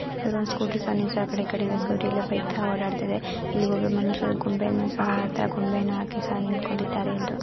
ಇವರು ಒಂದು ಸ್ಕೂಟಿ ಸಹ ನಿಲ್ಸ್ ಆ ಕಡೆ ಈ ಕಡೆ ಸ್ಕೂಟಿಲಿ ಬೈಕ್ಥ ಓಡಾಡ್ತಿವೆ. ಇಲ್ಲಿ ಒಬ್ಬಮನುಷ್ಯರು ಗೊಂಬೆಯನ್ನು ಸಹ ಆ ಥರ ಗೊಂಬೆಯನ್ನು ಹಾಕಿ ಸಹ ನಿಂತ್ಕೊಂಡಿದ್ದಾರೆ ಎಂದು--